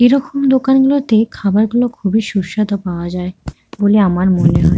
এরমকম দোকান গুলোতে খাবার গুলো খুব সুস্বাধু পাওয়া যায় বলে আমার মনে হয়।